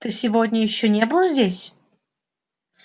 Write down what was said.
ты сегодня ещё не был здесь